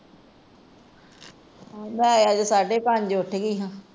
ਮੈ ਅੱਜ ਸਾਡੇ ਪੰਜ ਉੱਠ ਗਈ ਸਾ।